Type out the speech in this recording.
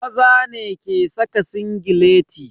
Maza ne ke saka singileti.